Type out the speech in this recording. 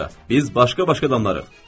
Bundan sonra biz başqa-başqa adamlarıq.